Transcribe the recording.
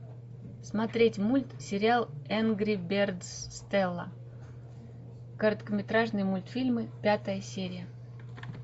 смотреть мультсериал энгри бердс стелла короткометражные мультфильмы пятая серия